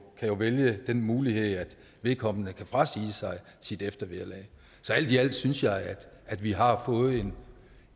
jo vælge den mulighed at vedkommende kan frasige sig sit eftervederlag så alt i alt synes jeg at at vi har fået